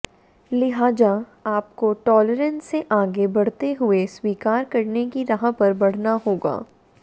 लिहाजा आपको टॉलरेंस से आगे बढ़ते हुए स्वीकार करने की राह पर बढ़ना होगा